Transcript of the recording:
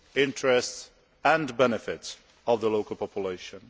interests and benefits of the local population.